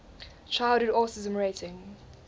childhood autism rating